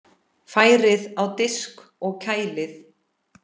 Færið á disk og kælið.